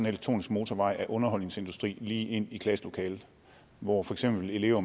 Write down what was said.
elektronisk motorvej af underholdningsindustri lige ind i klasselokalet hvor for eksempel elever